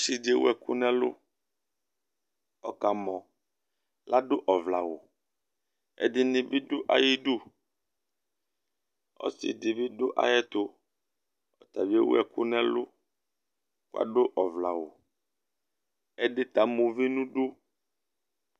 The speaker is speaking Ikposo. Ɔsi di ewu ɛku nʋ ɛlu Ɔkamɔ ! Ladu ɔvlɛ awu Ɛdiní bi du ayʋ idu Ɔsi di bi du ayʋɛtu, ɔta bi ewu ɛku nʋ ɛlu kʋ adu ɔvlɛ awu Ɛdí ta ama uvi nʋ idu